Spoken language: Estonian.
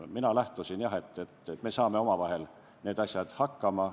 Mina lähtusin jah sellest, et me saame omavahel nende asjadega hakkama.